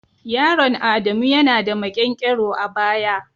Yaron adamu ya na da maƙyankyaro a baya.